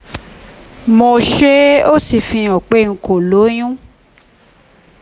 mo ṣe é ó sì fihàn pé n kò lóyún